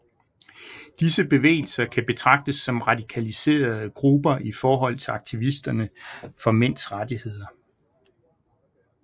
Disse bevægelser kan betragtes som radikaliserede grupper i forhold til aktivisterne for mænds rettigheder